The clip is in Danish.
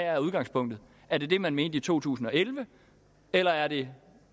er udgangspunktet er det det man mente i to tusind og elleve eller er det